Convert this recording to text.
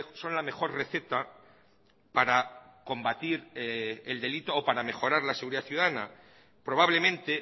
son la mejor receta para combatir el delito o para mejorar la seguridad ciudadana probablemente